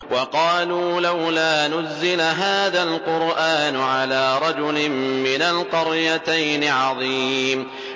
وَقَالُوا لَوْلَا نُزِّلَ هَٰذَا الْقُرْآنُ عَلَىٰ رَجُلٍ مِّنَ الْقَرْيَتَيْنِ عَظِيمٍ